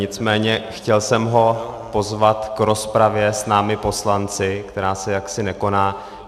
Nicméně chtěl jsem ho pozvat k rozpravě s námi poslanci, která se jaksi nekoná.